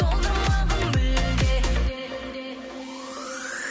солдырмағын мүлде